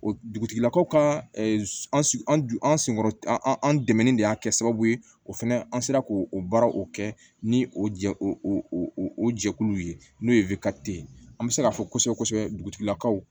O dugutigilakaw ka an senkɔrɔ an dɛmɛni de y'a kɛ sababu ye o fɛnɛ an sera k'o baara o kɛ ni o jɛ o jɛkulu ye n'o ye ye an bɛ se k'a fɔ kosɛbɛ kosɛbɛlakaw